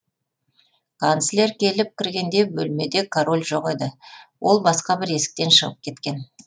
канцлер келіп кіргенде бөлмеде король жоқ еді ол басқа бір есіктен шығып кеткен